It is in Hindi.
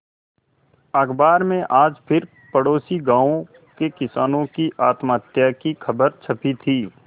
अखबार में आज फिर पड़ोसी गांवों के किसानों की आत्महत्या की खबर छपी थी